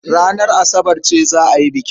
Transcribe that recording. Ranar Asabar ce za a yi bikin.